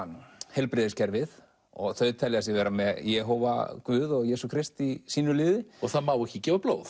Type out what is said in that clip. heilbrigðiskerfið og þau telja sig vera með Jehóva Guð og Jesú Krist í sínu liði það má ekki gefa blóð